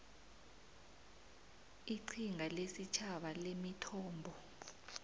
iqhinga lesitjhaba lemithombo